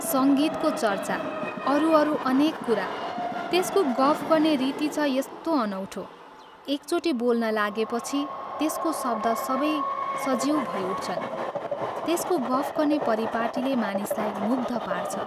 सङ्गीतको चर्चा अरू अरू अनेक कुरा त्यसको गफ गर्ने रीति छ यस्तो अनौठो, एकचोटि बोल्न लागेपछि त्यसको शब्द सबै सजीव भैउठ्छन्, त्यसको गफ गर्ने परिपाटीले मानिसलाई मुग्ध पार्छ।